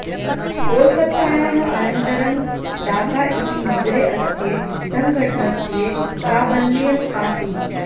कोलकत्तायाः अनन्तरं डाका इति नगरे अस्य सङ्घटनस्य प्राबल्यम् आसीत्